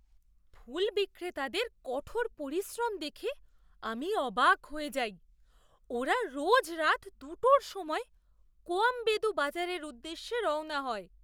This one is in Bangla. ফুল বিক্রেতাদের কঠোর পরিশ্রম দেখে আমি অবাক হয়ে যাই, ওরা রোজ রাত দুটোর সময় কোয়াম্বেদু বাজারের উদ্দেশ্যে রওনা হয়